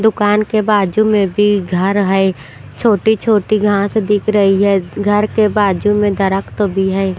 दुकान के बाजू में भी घर है छोटी-छोटी घास दिख रही है घर के बाजू में दरख्त भी है।